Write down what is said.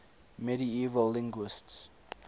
medieval linguists